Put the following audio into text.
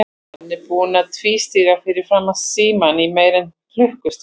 Hann er búinn að tvístíga fyrir framan símann í meira en klukkustund.